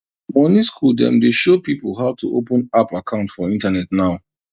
money school dem dey show pipo how to open app account for internet now